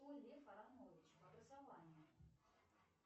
кто лев аранович по образованию